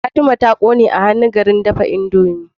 Fatima ta kone a hannu garin dafa indomie